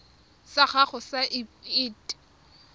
sa gago sa irp it